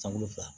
Sankolo fila